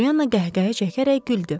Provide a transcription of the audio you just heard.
Polyana qəhqəhə çəkərək güldü.